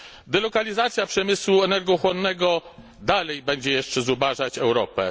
Delokalizacja przemysłu energochłonnego dalej będzie jeszcze zubażać Europę.